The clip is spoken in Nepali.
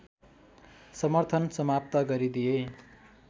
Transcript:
समर्थन समाप्त गरिदिए